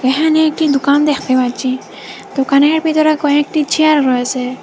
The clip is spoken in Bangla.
এখানে একটি দুকান দেখতে পাচ্ছি দুকানের ভিতরে কয়েকটি চেয়ার রয়েসে।